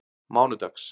mánudags